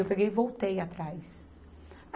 Eu peguei e voltei atrás.